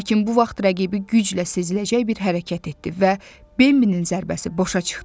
Lakin bu vaxt rəqibi güclə seziləcək bir hərəkət etdi və Bambinin zərbəsi boşa çıxdı.